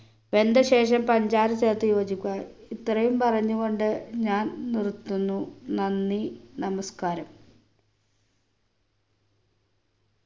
വെന്ത ശേഷം പഞ്ചാര ചേർത്ത് യോജിക്കുക ഇത്രയും പറഞ്ഞു കൊണ്ട് ഞാൻ നിർത്തുന്നു നന്ദി നമസ്ക്കാരം